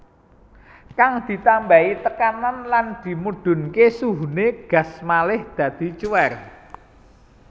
Kang ditambahi tekanan lan dimudhunké suhuné gas malih dadi cuwèr